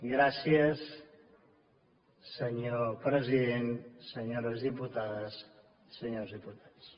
gràcies senyor president senyores diputades senyors diputats